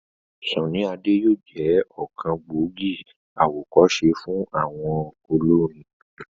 Sunny Ade yóò jẹ́ ọ̀kan gbòógì àwọ̀kọ́se fún ọ̀pọ̀ àwọn olórin.